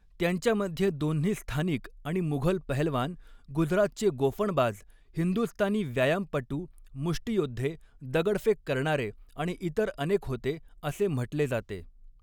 त्यांच्यामध्ये दोन्ही स्थानिक आणि मुघल पहेलवान, गुजरातचे गोफणबाज, हिंदुस्थानी व्यायामपटू, मुष्टियोद्धे, दगडफेक करणारे आणि इतर अनेक होते असे म्हटले जाते.